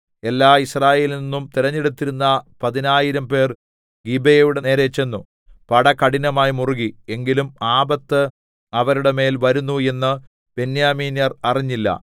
എല്ലാ യിസ്രായേലിൽനിന്നും തിരഞ്ഞെടുത്തിരുന്ന പതിനായിരംപേർ ഗിബെയയുടെ നേരെ ചെന്നു പട കഠിനമായി മുറുകി എങ്കിലും ആപത്ത് അവരുടെ മേൽ വരുന്നു എന്ന് ബെന്യാമീന്യർ അറിഞ്ഞില്ല